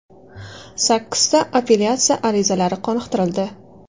Sakkizta appelyatsiya arizalari qoniqtirildi.